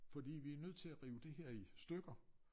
Fordi vi nødt til at rive det her i stykker